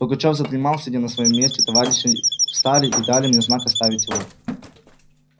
пугачёв задремал сидя на своём месте товарищи его встали и дали мне знак оставить его